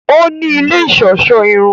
O ní ilé iṣọṣọ irun